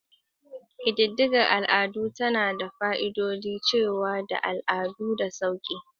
Ƙididdigar al'ada tana da fa'idodin dacewa da al'adu da sauƙi.